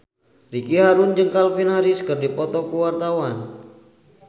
Ricky Harun jeung Calvin Harris keur dipoto ku wartawan